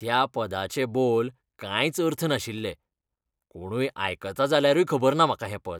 त्या पदाचे बोल कांयच अर्थ नाशिल्ले, कोणूय आयकता जाल्यारूय खबर ना म्हाका हें पद.